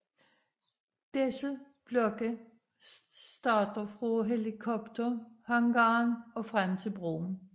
Disse blokke starter fra helikopterhangaren og frem til broen